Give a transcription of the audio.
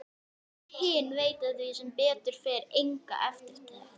Þau hin veita því sem betur fer enga eftirtekt.